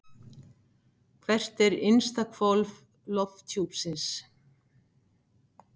Hvert er innsta hvolf lofthjúpsins?